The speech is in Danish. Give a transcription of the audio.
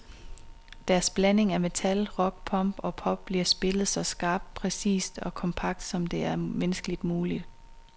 Deres blanding af metal, rock, punk og pop bliver spillet så skarpt, præcist og kompakt, som det er menneskeligt muligt.